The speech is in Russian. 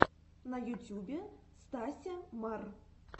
на ютюбе стася мар